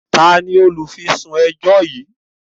Tani olufisun ẹjọ yí?